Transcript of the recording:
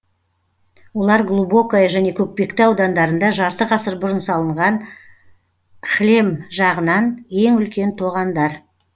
олар глубокое және көкпекті аудандарында жарты ғасыр бұрын салынған кһлем жағынан ең үлкен тоғандар